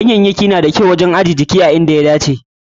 Ganyayyaki na da kyau wajen ajje jiki a girman da ya dace.